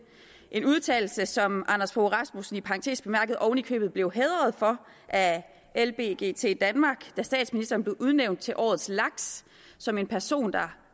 en udtalelse som anders fogh rasmussen i parentes bemærket oven i købet blev hædret for af lbgt danmark da statsminister blev udnævnt til årets laks som en person der